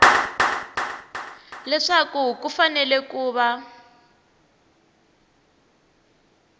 leswaku ku fanele ku va